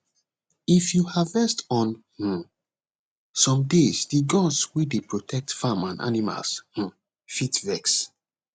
if you harvest on um some days the gods wey dey protect farm and animals um fit vex